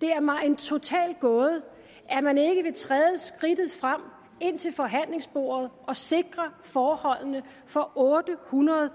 det er mig en total gåde at man ikke vil træde skridtet frem ind til forhandlingsbordet og sikre forholdene for ottehundrede og